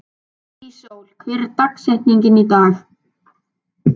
Íssól, hver er dagsetningin í dag?